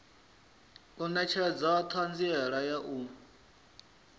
u netshedza thanziela ya u